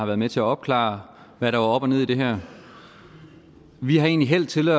var med til at opklare hvad der var op og ned i det her vi har egentlig hældt til